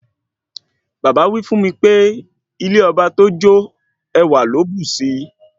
Bàbá wí fún mi pé ilé ọba tó jò ẹwà ló bùsi